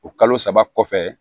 O kalo saba kɔfɛ